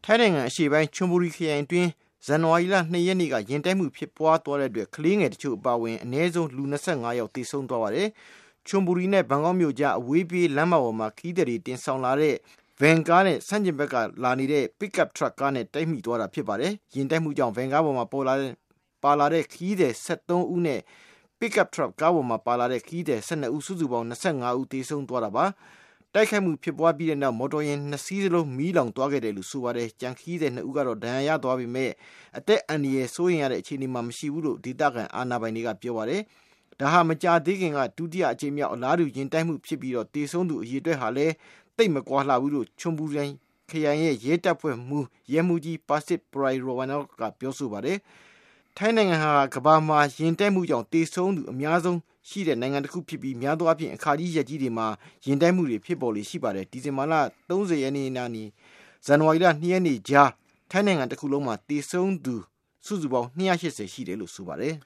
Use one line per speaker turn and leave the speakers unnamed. ိုင်းနိုင်ငံ အရှေ့ပိုင်း Chonburi ခရိုင်အတွင်း ဇန်နဝါရီလ ၂ ရက်နေ့က ယာဉ်တိုက်မှုဖြစ်သွားတဲ့အတွက် ကလေးငယ်တချို့အပါအဝင် အနည်းဆုံး လူ ၂၅ ဦး သေဆုံးသွားပါတယ်။ Chonburi နဲ့ ဘန်ကောက်မြို့အကြားက အဝေးပြေးလမ်းမပေါ်မှာ ခရီးသည်တွေ တင်ဆောင်လာတဲ့ ခရီးသည်တွေ တင်ဆောင်လာတဲ့ ဗန်ကားတစီးက ဆန့်ကျင်ဖက်က လာနေတဲ့ Pickup ထရပ်နဲ့ တိုက်မိသွားတာ ဖြစ်ပါတယ်။ ယာဉ်တိုက်မှုကြောင့် ဗန်ကားပေါ် ပါလာတဲ့ ခရီးသည် ၁၃ ဦးနဲ့ Pickup ထရပ်ကားပေါ် ပါလာတဲ့ ခရီးသည် ၁၂ ဦး ၊ ပေါင်း ၂၅ ဦး သေဆုံးသွားတာ ဖြစ်ပါတယ်။ တိုက်ခိုက်မှု ဖြစ်သွားပြီးတဲ့နောက် မော်တော်ယာဉ် ၂ စီးစလုံး မီးလောင်သွားတယ်လို့ ဆိုပါတယ်။ ကျန် ခရီးသည် ၂ ဦးကတော့ ဒဏ်ရာရသွားပေမယ့် အသက်အန္တရာယ် စိုးရိမ်ရတဲ့ အခြေအနေမှာမရှိဘူးလို့ ဒေသခံအာဏာပိုင်တွေက ပြောပါတယ်။ ဒါဟာ မကြာသေးခင်ကာလအတွင်း ဒုတိယအကြိမ်မြောက် အလားတူ ယာဉ်တိုက်မှုဖြစ်ပြီး သေဆုံးသူ အရေအတွက်ဟာလည်း သိပ်မကွာလှဘူးလို့ Chonburi ခရိုင် ရဲတပ်ဖွဲ့က ဗိုလ်မှူးကြီး Pisit Proyrungroj က ပြောပါတယ်။ ထိုင်းနိုင်ငံဟာ ကမ္ဘာမှာ ယာဉ်တိုက်မှုကြောင့် သေဆုံးမှု အများဆုံးဖြစ်တဲ့ နိုင်ငံတခုဖြစ်ပြီး များသောအားဖြင့် အခါကြီး ရက်ကြီးတွေမှာ ယာဉ်တိုက်မှု ဖြစ်ပေါ်လေ့ရှိတတ်ပါတယ်။ ဒီဇင်ဘာ ၃၀ ရက်နေ့နဲ့ ဇန်နဝါရီလ ၂ ရက်နေ့အကြား ထိုင်းနိုင်ငံ တခုလုံးမှာ သေဆုံးသူ စုစုပေါင်း ၂၈၀ ရှိတယ်လို့ ဆိုပါတယ်